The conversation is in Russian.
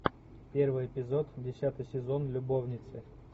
первый эпизод десятый сезон любовницы